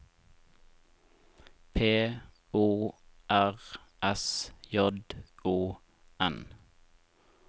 P O R S J O N